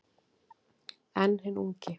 En hinn ungi